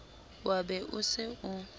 wa be o se o